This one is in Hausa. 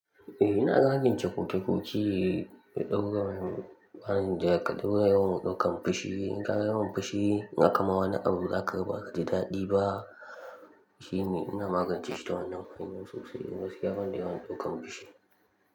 Eh ina rage kurkuku da ɗaura yawan ɗaukan fushi. In ka yi yawan fushi, haka ma wani abu zaka raba da daɗi ba. Shi ne ina magance shi da wannan hanyar sosai, dan gaskiya banda yawan ɗaukan fushi.